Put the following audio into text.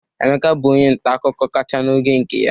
Emeka bụ onye nta akụkọ kacha n'oge nke anyị.